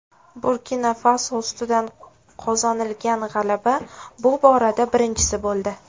Burkina-Faso ustidan qozonilgan g‘alaba bu borada birinchisi bo‘ldi.